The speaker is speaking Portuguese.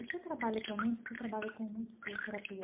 O seu trabalho atualmente, você trabalha com musicoterapia, né?